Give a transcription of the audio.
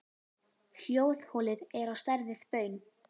Hljóðholið er á stærð við baun.